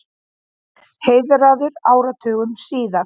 Heiðraður áratugum síðar